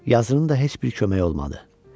Yazının da heç bir köməyi olmadı.